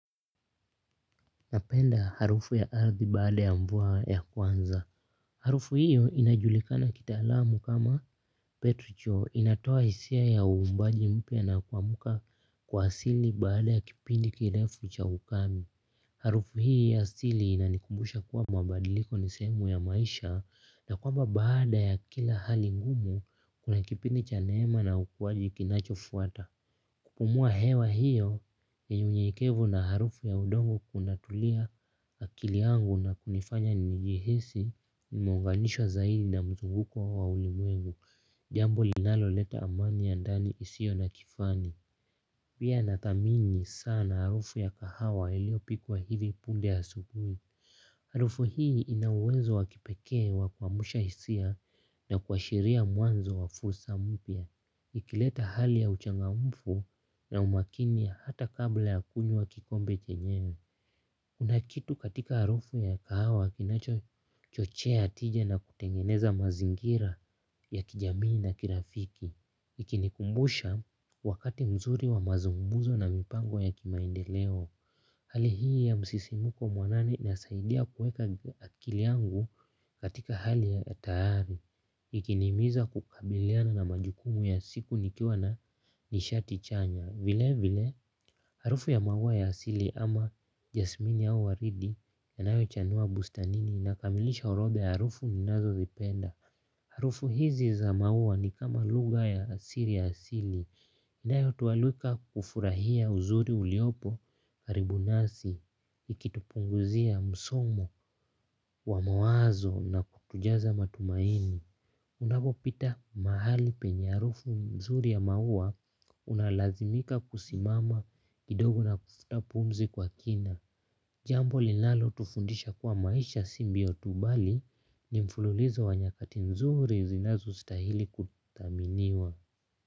Napenda harufu ya ardhi baada ya mvua ya kwanza. Harufu hiyo inajulikana kitaalamu kama petucho inatoa hisia ya uvumbaji mpya na kuamka kwa asili baada ya kipindi kirefu cha ukame. Harufu hii ya asili inanikumbusha kuwa mabadiliko ni sehemu ya maisha na kwamba baada ya kila hali ngumu kuna kipindi cha neema na ukuaji kinachofuata. Kupumua hewa hiyo yenye unyenyekevu na harufu ya udongo kunatulia akili yangu na kunifanya nijihisi nimeunganishwa zaidi na mzunguko wa ulimwengu, jambo linaloleta amani ya ndani isiyo na kifani. Pia nathamini sana harufu ya kahawa iliyopikwa hivi punde asubuhi. Harufu hii ina uwezo wa kipekee wa kuamsha hisia na kuashiria mwanzo wa fursa mpya. Ikileta hali ya uchangamfu na umakini hata kabla ya kunywa kikombe chenyewe. Kuna kitu katika harufu ya kahawa kinachochochea tija na kutengeneza mazingira ya kijamii na kirafiki. Ikinikumbusha wakati mzuri wa mazungumzo na mipango ya kimaendeleo. Hali hii ya msisimko mwanani inasaidia kuweka akili yangu katika hali ya tayari. Ikinihimiza kukabiliana na majukumu ya siku nikiwa na nishati chanya. Vile vile, harufu ya maua ya asili ama jasmini au waridi yanayochanua bustanini inakamilisha orodha ya harufu ninazozipenda. Harufu hizi za maua ni kama lugha ya asili ya asili. Inayotualika kufurahia uzuri uliopo karibu nasi ikitupunguzia msongo wa mawazo na kutujaza matumaini. Unapopita mahali penye harufu nzuri ya maua unalazimika kusimama kidogo na kufuta pumzi kwa kina. Jambo linalotufundisha kuwa maisha si mbio tu bali ni mfululizo wa nyakati nzuri zinazostahili kuthaminiwa.